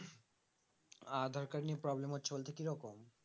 আধার card নিয়ে problem হচ্ছে বলতে কি রকম